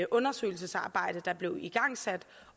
undersøgelsesarbejde der blev igangsat